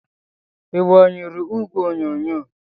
Ị gbanyụọ igwe onyonyo?